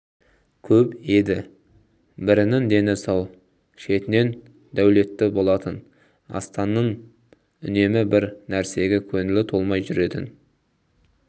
көп еді брінің дені сау шетінен дулетті болатын астанның үнемі бір нрсеге көңілі толмай жүретін